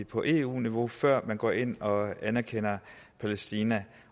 på eu niveau før man går ind og anerkender palæstina